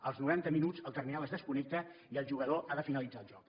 als noranta minuts el terminal es desconnecta i el jugador ha de finalitzar el joc